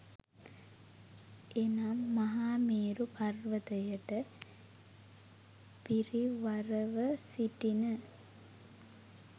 එනම්, මහමේරු පර්වතයට පිරිවරව සිටින